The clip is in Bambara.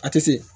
A tɛ se